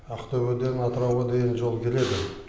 ақтөбеден атырауға дейін жол келеді